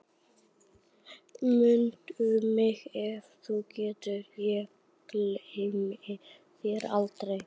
Mundu mig ef þú getur, ég gleymi þér aldrei